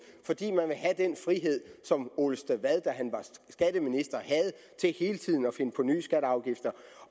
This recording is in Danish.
fordi man vil have den frihed som ole stavad da han var skatteminister havde til hele tiden at finde på nye skatter og afgifter